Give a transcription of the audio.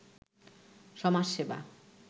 সমাজ সেবা